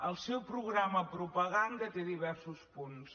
el seu programa propaganda té diversos punts